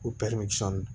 O